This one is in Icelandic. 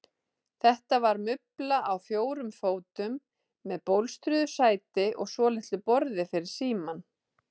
Þetta var mubla á fjórum fótum með bólstruðu sæti og svolitlu borði fyrir símann.